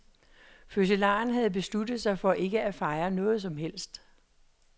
Fødselaren havde besluttet sig for ikke at fejre noget som helst.